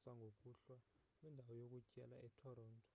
sangokuhlwa kwindawo yokutyela etoronto